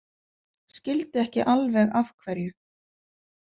Skildi ekki alveg af hverju.